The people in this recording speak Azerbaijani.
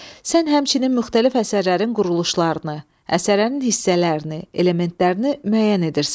Sən həmçinin müxtəlif əsərlərin quruluşlarını, əsərlərin hissələrini, elementlərini müəyyən edirsən.